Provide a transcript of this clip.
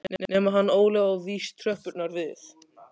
Nema hann Óli á víst tröppurnar við